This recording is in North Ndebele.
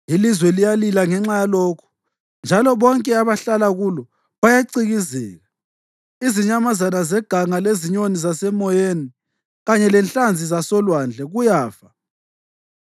Ilizwe liyalila ngenxa yalokhu, njalo bonke abahlala kulo bayacikizeka; izinyamazana zeganga lezinyoni zasemoyeni kanye lenhlanzi zasolwandle kuyafa.